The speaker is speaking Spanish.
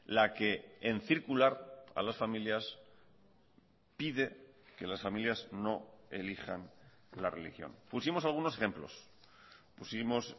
la que en circular a las familias pide que las familias no elijan la religión pusimos algunos ejemplos pusimos